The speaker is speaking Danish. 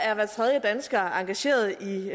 er hver tredje dansker engageret i